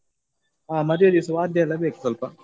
ಹಾ ಮದ್ವೆ ದಿವ್ ವಾದ್ಯ ಎಲ್ಲ ಬೇಕು ಸ್ವಲ್ಪ.